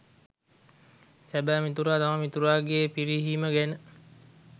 සැබෑ මිතුරා තම මිතුරාගේ පිරිහීම ගැන